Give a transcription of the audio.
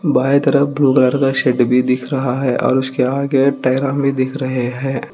बांई तरफ घर का सेट भी दिख रहा है और उसके आगे भी दिख रहे हैं।